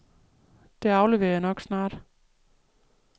Det afleverer jeg nok snart.